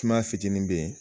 Kuma fitinin be yen